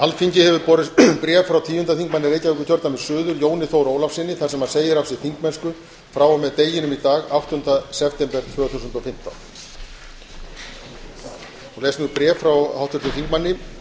alþingi hefur borist bréf frá tíunda þingmanni reykjavíkurkjördæmis suður jóni þór ólafssyni þar sem hann segir af sér þingmennsku frá og með deginum í dag áttunda september tvö þúsund og fimmtán les ég nú bréf frá háttvirtum þingmanni